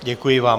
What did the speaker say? Děkuji vám.